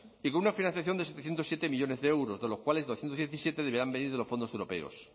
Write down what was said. y con una financiación de setecientos siete millónes de euros de los cuales doscientos diecisiete deberían venir de los fondos europeos